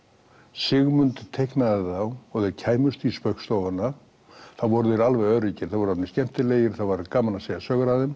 Sigmund teiknaði þá og þeir kæmust í Spaugstofuna þá voru þeir alveg öruggir þá voru þeir orðnir skemmtilegir þá var gaman að segja sögur af þeim